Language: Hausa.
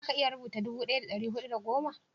za ka iya rubuta dubu daya da dari hudu da goma?